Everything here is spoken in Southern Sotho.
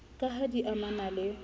ka ha di amana le